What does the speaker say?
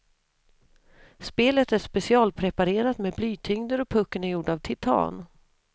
Spelet är specialpreparerat med blytyngder och pucken är gjord av titan.